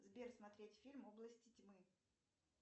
сбер смотреть фильм области тьмы